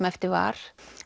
eftir var